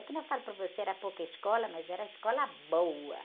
É que nem falo para você, era pouca escola, mas era escola boa.